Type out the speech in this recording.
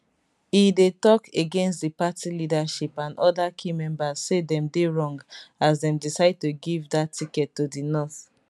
e dey tok against di party leadership and oda key members say dem dey wrong as dem decide to give dat ticket to di north